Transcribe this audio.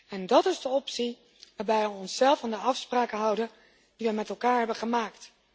En dat is de optie waarbij we onszelf aan de afspraken houden die we met elkaar hebben gemaakt.